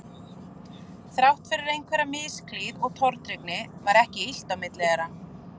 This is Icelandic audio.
Þrátt fyrir einhverja misklíð og tortryggni var ekki illt á milli þeirra